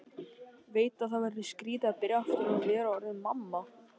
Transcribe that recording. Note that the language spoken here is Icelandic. Veit að það verður skrýtið að byrja aftur og vera orðin mamma.